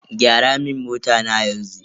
Gyara mun mota na yanzu.